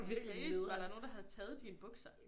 Seriøst var der nogen der havde taget dine bukser